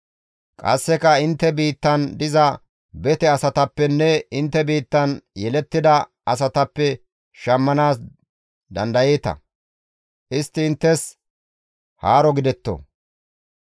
Qasseka intte biittan diza bete asatappenne intte biittan yelettida asatappe shammanaas dandayeeta; istti inttes haaro gidetto.